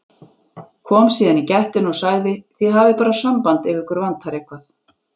Kom síðan í gættina og sagði: Þið hafið bara samband ef ykkur vantar eitthvað.